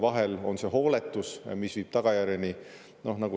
Vahel on see hooletus, mis viib tagajärjeni.